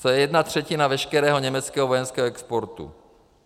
To je jedna třetina veškerého německého vojenského exportu.